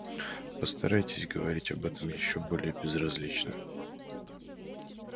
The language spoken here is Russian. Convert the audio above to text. постарайтесь говорить об этом ещё более безразлично